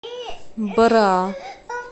бра